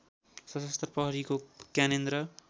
सशस्त्र प्रहरीको ज्ञानेन्द्र